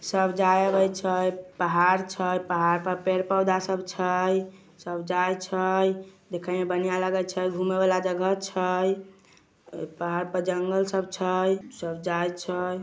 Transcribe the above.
सब जाए रहइ छै पहाड छै पहाड़ पर पेड़ पौधा सब छै सब जाई छै देखे में बढ़िया लगाइ छै घूमे वाला जगह छै अ पहाड़ पर जंगल सब छै सब जाइ छै |